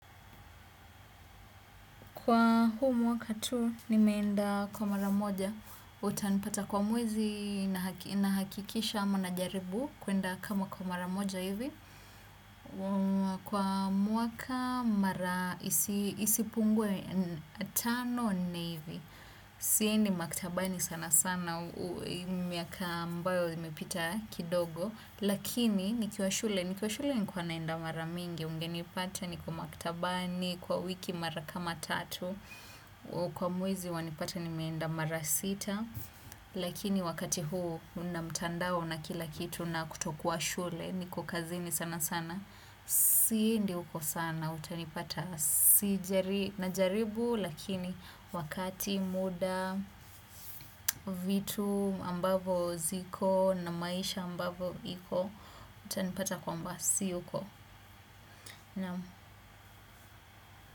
Kwa huu mwaka tu nimeenda kwa mara moja, utanipata kwa mwezi nahakikisha ama najaribu kuenda kama kwa mara moja hivi. Kwa mwaka mara isipungwe tano nne hivi. Siendi maktabani sana sana miaka ambayo imepita kidogo. Lakini nikiwa shule, nilikuwa shule nilikuwa naenda mara mingi ungenipata niko maktabani kwa wiki mara kama tatu. Kwa mwezi wanipata nimeenda mara sita, lakini wakati huu una mtandao na kila kitu na kutokuwa shule, niko kazini sana sana, siendi huko sana, utanipata najaribu, lakini wakati muda vitu ambavo ziko na maisha ambavo iko, utanipata kwamba si huko.